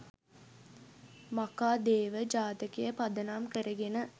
මඛාදේව ජාතකය පදනම් කරගෙන